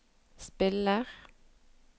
spiller